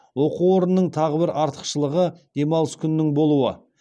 оқу орнының тағы бір артықшылығы демалыс күнінің болуы